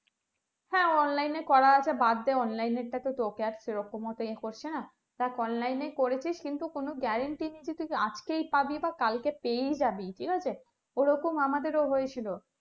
হ্যাঁ online এ করা আছে বাদ online এরটা তো তোকে আর সেরকম অত য়ে করছেন দেখ online এ করেছিস কিন্তু কোনো guarantee নেই যে তুই আজকেই পাবি ভা কালকে পেয়েই জাবি ঠিক আছে এরকম আমাদের ও হয়েছিল